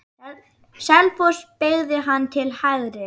Selfoss beygði hann til hægri.